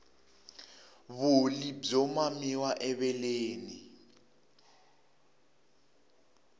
vulyi byo mamiwa eveleni